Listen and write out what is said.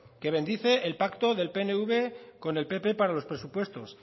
que bendice el pacto del pnv con el pp para los presupuestos